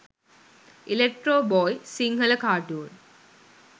electro boy sinhala cartoon